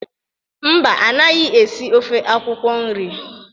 Mba, anaghị esi ofe akwụkwọ nri.